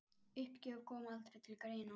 Uppgjöf kom aldrei til greina.